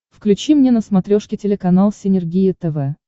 включи мне на смотрешке телеканал синергия тв